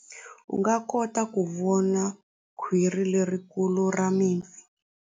U nga kota ku vona khwiri lerikulu ra mipfi.